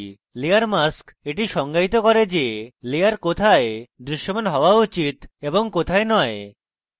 layer mask এটি সংজ্ঞায়িত করে যে layer কোথায় দৃশ্যমান হওয়া উচিত এবং কোথায় নয়